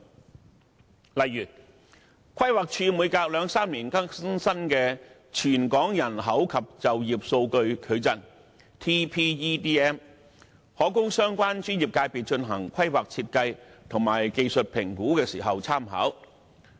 舉例而言，規劃署每兩三年更新一次的《全港人口及就業數據矩陣》，可供相關專業界別進行規劃設計及技術評估時參考。